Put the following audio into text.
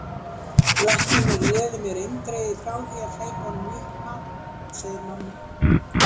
Læknirinn réði mér eindregið frá því að hleypa honum í uppnám, segir mamma.